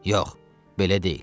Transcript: Yox, belə deyil.